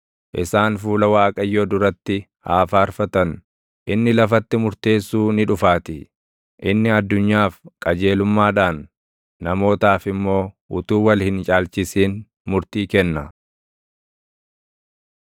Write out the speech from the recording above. isaan fuula Waaqayyoo duratti haa faarfatan; inni lafatti murteessuu ni dhufaatii. Inni addunyaaf qajeelummaadhaan, namootaaf immoo utuu wal hin caalchisin murtii kenna.